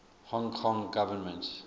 hong kong government